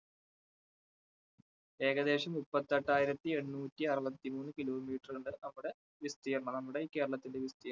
ഏകദേശം മുപ്പത്തെട്ടായിരത്തി എണ്ണൂറ്റി അറുപത്തിമൂന്ന് kilometer ഉണ്ട് നമ്മുടെ വിസ്തീർണ്ണം നമ്മുടെ ഈ കേരളത്തിന്റെ വിസ്തീർണ്ണം.